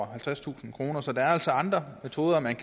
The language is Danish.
halvtredstusind kroner så der er altså andre metoder man